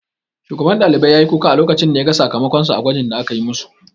Shugaban ɗalibai ya yi kuka a lokacin da ya ga sakamakon sa a gwajin da akayi ma su